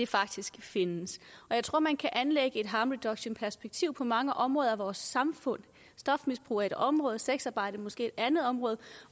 faktisk findes jeg tror man kan anlægge et harm reduction perspektiv på mange områder i vores samfund stofmisbrug er et område sexarbejde er måske et andet område